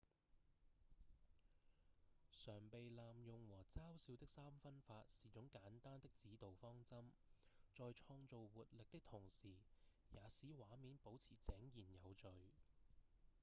常被濫用和嘲笑的三分法是種簡單的指導方針在創造活力的同時也使畫面保持井然有序